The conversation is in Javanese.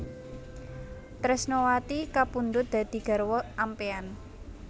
Tresnawati kapundhut dadi garwa ampéyan